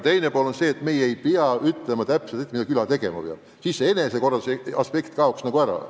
Üldiselt meie ei pea ette ütlema, mida küla tegema peab – siis kaob enesekorralduslik aspekt ära.